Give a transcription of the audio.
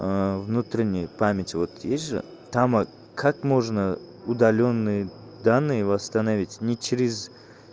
внутренняя память вот есть же там как можно удалённые данные восстановить не через